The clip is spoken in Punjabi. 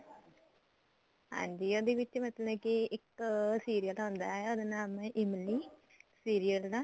ਹਾਂਜੀ ਉਹਦੇ ਵਿੱਚ ਮਤਲਬ ਕੇ ਇੱਕ serial ਹੁੰਦਾ ਉਹਦਾ ਨਾਮ ਏ ਇਮਲੀ serial ਦਾ